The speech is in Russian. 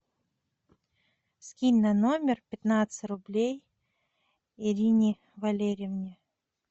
скинь на номер пятнадцать рублей ирине валерьевне